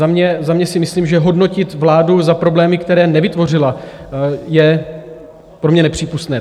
Za mě si myslím, že hodnotit vládu za problémy, které nevytvořila, je pro mě nepřípustné.